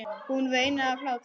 Hún veinaði af hlátri.